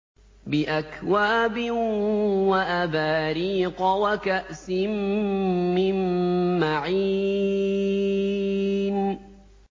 بِأَكْوَابٍ وَأَبَارِيقَ وَكَأْسٍ مِّن مَّعِينٍ